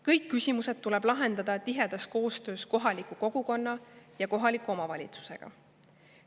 Kõik küsimused tuleb lahendada tihedas koostöös kohaliku kogukonna ja kohaliku omavalitsusega.